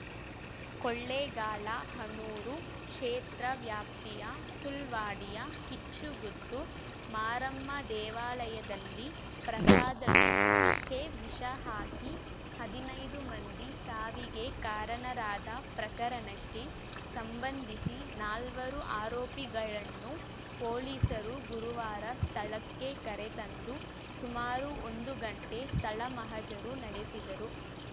ಕೊಳ್ಳೇಗಾಲ ಹನೂರು ಕ್ಷೇತ್ರ ವ್ಯಾಪ್ತಿಯ ಸುಳ್ವಾಡಿಯ ಕಿಚ್ಚುಗುತ್ತು ಮಾರಮ್ಮ ದೇವಾಲಯದಲ್ಲಿ ಪ್ರಸಾದಕ್ಕೆ ವಿಷಹಾಕಿ ಹದಿನೈದು ಮಂದಿ ಸಾವಿಗೆ ಕಾರಣರಾದ ಪ್ರಕರಣಕ್ಕೆ ಸಂಬಂಧಿಸಿ ನಾಲ್ವರು ಆರೋಪಿಗಳನ್ನು ಪೊಲೀಸರು ಗುರುವಾರ ಸ್ಥಳಕ್ಕೆ ಕರೆತಂದು ಸುಮಾರು ಒಂದು ಗಂಟೆ ಸ್ಥಳ ಮಹಜರು ನಡೆಸಿದರು